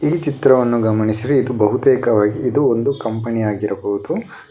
ಈ ಚಿತ್ರವನ್ನು ಗಮನಿಸಿರೆ ಇದು ಬಹುತೇಕವಾಗಿ ಇದು ಒಂದು ಕಂಪನಿ ಆಗಿರಬಹುದು.